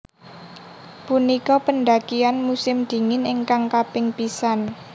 Punika pendakian musim dingin ingkang kaping pisan